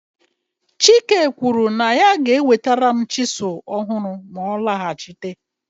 chike kwuru na ya ga-enwetara m chisuu ọhụrụ ma ọ lọghachite